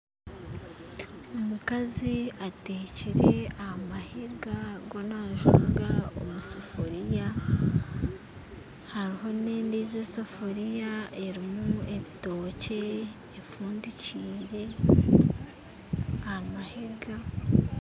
Omukazi atekyire aha mahiga omu sefuriya hariho nendiijo esefuriya erimu ebitookye efundikyire aha mahiga